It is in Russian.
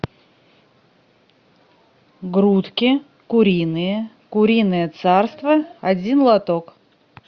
грудки куриные куриное царство один лоток